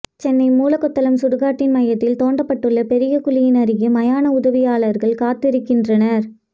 சென்னை மூலக்கொத்தளம் சுடுகாட்டின் மையத்தில் தோண்டப்பட்டுள்ள பெரிய குழியின் அருகே மயான உதவியாளர்கள் காத்திருக்கின்றனர்